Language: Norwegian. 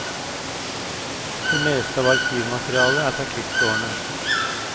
Det meste av arkivmaterialet er fra krigsårene.